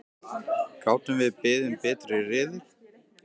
Gátum við beðið um betri riðil?!